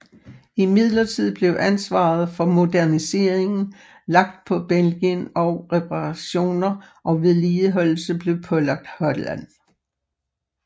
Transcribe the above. Imidlertid blev ansvaret for moderniseringen lagt på Belgien og reparationer og vedligeholdelse blev pålagt Holland